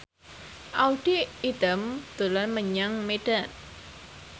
Audy Item dolan menyang Medan